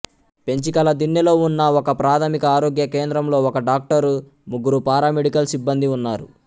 పెంచికలదిన్నెలో ఉన్న ఒకప్రాథమిక ఆరోగ్య కేంద్రంలో ఒక డాక్టరు ముగ్గురు పారామెడికల్ సిబ్బందీ ఉన్నారు